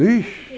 Ixi...